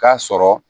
K'a sɔrɔ